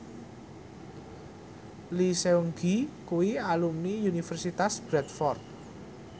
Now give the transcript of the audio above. Lee Seung Gi kuwi alumni Universitas Bradford